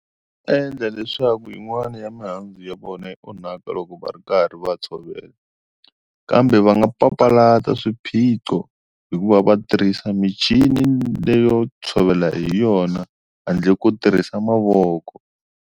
Endla leswaku yin'wani ya mihandzu ya vona yi onhaka loko va ri karhi va tshovela kambe va nga papalata swiphiqo hi ku va va tirhisa michini leyo tshovela hi yona handle ko tirhisa mavoko.